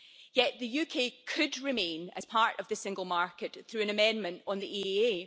Yet the UK could remain as part of the single market through an amendment on the EEA.